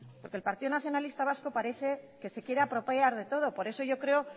porque el partido nacionalista vasco parece que se quiere apropiar de todo por eso yo creo